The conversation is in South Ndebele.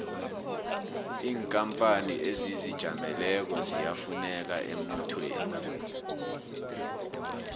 inkapani ezizijameleko ziyafuneka emnothweni